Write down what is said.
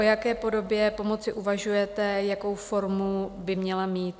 O jaké podobě pomoci uvažujete, jakou formu by měla mít?